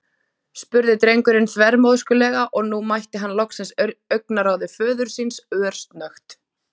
spurði drengurinn þvermóðskulega og nú mætti hann loksins augnaráði föður síns, örsnöggt.